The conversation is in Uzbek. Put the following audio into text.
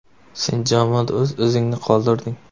Sen jamoada o‘z izingni qoldirding.